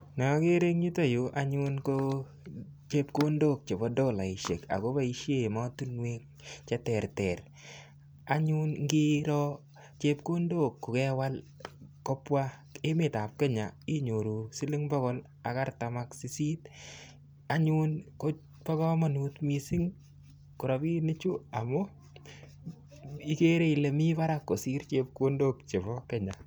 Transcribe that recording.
Neokere yuton anyun ko chepkondok chebo tolaisiek ako boisien emotinuek cheterter. Anyun ingiro chepkondok kokewal kobwa emetab Kenya inyoru siling pokol ak artam ak sisit anyun ko bo komonut missing' rabinichu amun ago ikere ile mi barak kosir chepkondok chebo Kenya.